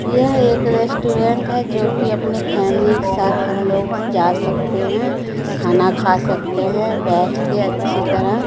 यह एक रेस्टोरेंट है जोकि अपने फैमिली के साथ हम लोग जा सकते हैं खाना खा सकते हैं बैठ के अच्छी तरह--